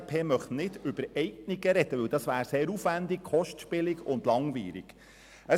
Die glp möchte nicht über Eignungen sprechen, weil dies sehr aufwändig, kostspielig und langwierig wäre.